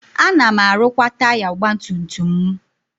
Ana m arụkwa taya ọgbatumtum m.